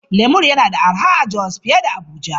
Lemur yana da arha a Jos fiye da Abuja.